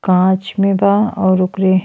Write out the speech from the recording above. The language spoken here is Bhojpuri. काँच में बा। और ओकरे --